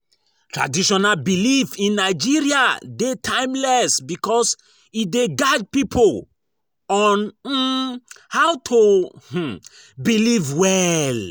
Traditional belief in Nigeria de timeless because e de guide pipo on um how to um behave well